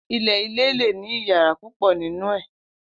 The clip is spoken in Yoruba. ile ile le ni iyara pupo ninu ee